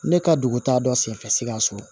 Ne ka dugu taa dɔ senfɛ sikaso